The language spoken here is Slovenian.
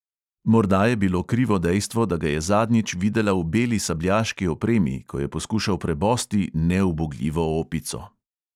Morda je bilo krivo dejstvo, da ga je zadnjič videla v beli sabljaški opremi, ko je poskušal prebosti neubogljivo opico.